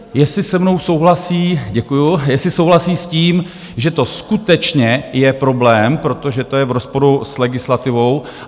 Jestli se mnou souhlasí - děkuju - jestli souhlasí s tím, že to skutečně je problém, protože to je v rozporu s legislativou.